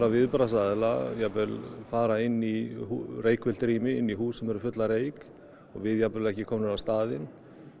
viðbragðsaðila jafnvel fara inn í reykfyllt rými inn í hús sem eru full af reyk og við jafnvel ekki komnir á staðinn